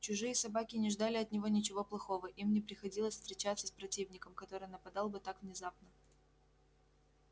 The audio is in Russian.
чужие собаки не ждали от него ничего плохого им не приходилось встречаться с противником который нападал бы так внезапно